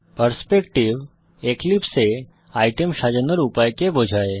perspective এক্লিপসে এ item সাজানোর উপায়কে বোঝায়